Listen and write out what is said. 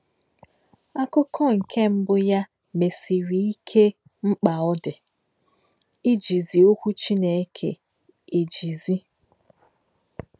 Àkù̄kọ́̄ nké̄ mbù̄ yá̄ mèsị̀rị̀ íkè̄ mkpá̄ ọ́ dị̄ íjìzì̄ Ọ́kwú̄ Chīné̄kè̄ èjìzì̄.